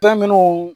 Fɛn minnu